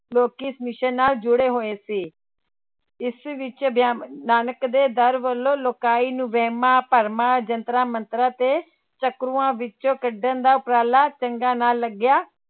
ਲੋਕੀ ਇਸ mission ਨਾਲ ਜੁੜੇ ਹੋਏ ਸੀ, ਇਸ ਵਿੱਚ ਨਾਨਕ ਦੇ ਦਰ ਵੱਲੋਂ ਲੋਕਾਈ ਨੂੂੰ ਵਹਿਮਾਂ ਭਰਮਾਂ, ਜੰਤਰਾਂ ਮੰਤਰਾਂ ਤੇ ਚੱਕਰਾਂ ਵਿੱਚ ਕੱਢਣ ਦਾ ਉਪਰਾਲਾ ਚੰਗਾ ਨਾ ਲੱਗਿਆ